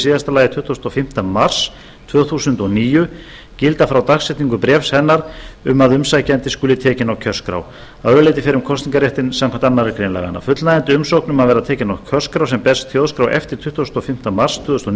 síðasta lagi tuttugasta og fimmta mars tvö þúsund og níu gilda frá dagsetningu bréfs hennar um að umsækjandi skuli tekinn á kjörskrá að öðru leyti fer um kosningarréttinn samkvæmt annarri grein laganna fullnægjandi umsókn um að verða tekinn á kjörskrá sem berst þjóðskrá eftir tuttugustu og fimmta mars tvö þúsund og